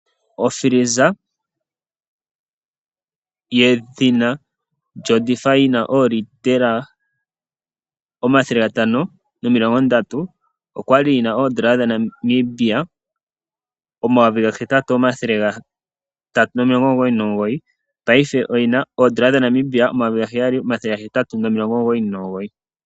Ofiliza ye dhina Defy 530L, okwali yina N$8399, paife oyina N$ 7899